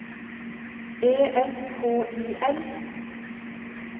E S K I L